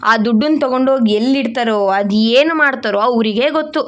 ಆ ದುಡ್ಡನ್ನ ತಗೊಂಡು ಹೋಗಿ ಎಲ್ಲಿ ಇಡ್ತಾರೋ ಅದು ಏನು ಮಾಡ್ತಾರೋ ಅವರಿಗೇ ಗೊತ್ತು.